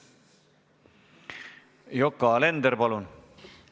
Yoko Alender, palun!